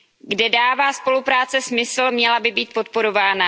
Kde dává spolupráce smysl, měla by být podporována.